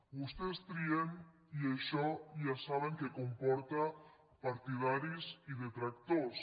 vostès trien i això ja saben que comporta partidaris i detractors